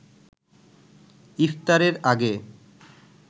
ইফতারের আগে